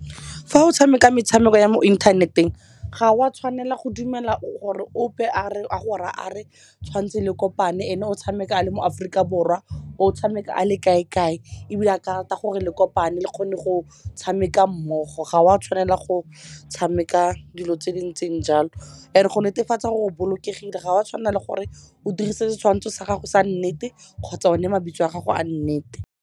Fa o tshameka metshameko ya mo inthaneteng ga o a tshwanela go dumela gore ope a go reya a re tshwanetse le kopane ene o tshameka a le mo Aforika Borwa o tshameka a le kae-kae, ebile a ka rata gore le kopane le kgone go tshameka mmogo. Ga o a tshwanela go tshameka dilo tse di ntseng jalo. And go netefatsa gore bolokegile ga o a tshwanela le gore o dirise le setshwanetsho sa gago sa nnete kgotsa o ne mabitso a gago a nnete.